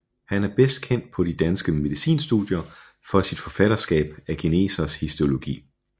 Han er bedst kendt på de danske medicinstudier for sit forfatterskab af Genesers Histologi